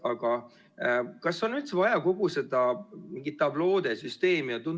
Aga kas on üldse vaja kogu seda tabloode süsteemi?